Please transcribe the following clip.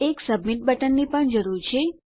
એક સબમીટ બટનની પણ જરૂર છે